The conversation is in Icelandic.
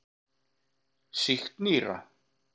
Sýkt nýra.